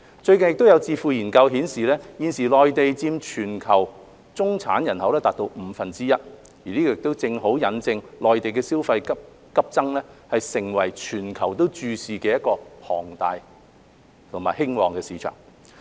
最近有智庫研究顯示，現時內地佔全球中產人口達五分之一，這正好引證內地消費急增，成為全球注視的龐大和興旺市場。